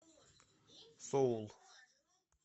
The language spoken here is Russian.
соул